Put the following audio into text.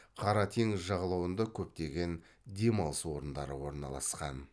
қара теңіз жағалауында көптеген демалыс орындары орналасқан